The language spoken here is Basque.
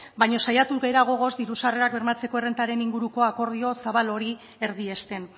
baina saiatu gara gogoz diru sarrerak bermatzeko errentaren inguruko akordio zabal hori erdiesten